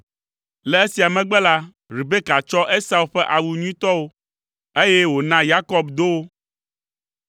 Le esia megbe la, Rebeka tsɔ Esau ƒe awu nyuitɔwo, eye wòna Yakob do wo.